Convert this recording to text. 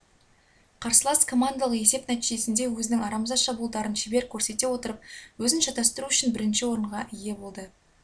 қарсылас командалық есеп нәтижесінде өзінің арамза шабуылдарын шебер көрсете отырып өзін шатастыру үшін бірінші орынға ие болды